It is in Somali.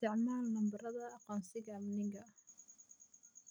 Isticmaal nambarada aqoonsiga amniga